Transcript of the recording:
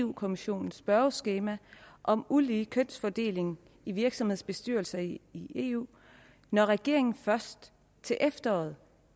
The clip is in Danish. på kommissionens spørgeskema om ulige kønsfordeling i virksomhedsbestyrelser i i eu når regeringen først til efteråret